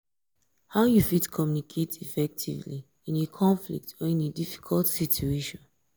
how you fit communicate effectively in a conflict or in a difficult situation?